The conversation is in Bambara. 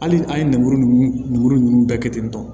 Hali an ye lemuru ninnu lemuru ninnu bɛɛ kɛ ten tɔ